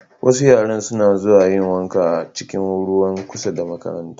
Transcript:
Wasu yaran suna zuwa yin wanka a cikin ruwa kusa da makaranta.